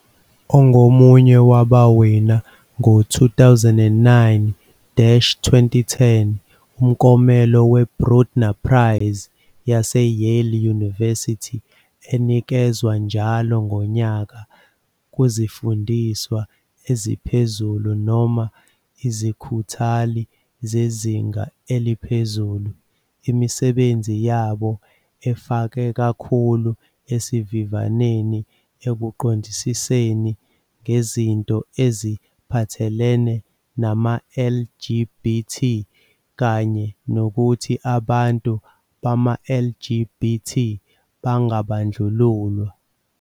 Ongomunye wabawina ngo 2009-2010 umklomelo we-Brudner Prize yase-Yale University enikezwa njalo ngonyaka kuzifundiswa eziphezulu noma izikhuthali zezinga eliphezulu, imisebenzi yabo efake kakhulu esivifaneni ekuqondisiseni ngezinto eziphathelene nama-LGBT kanye nokuthi abantu bama-LGBT bangabandlululwa.